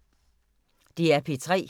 DR P3